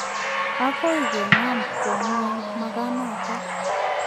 Ago kiinam kwo ngweny magaanoton.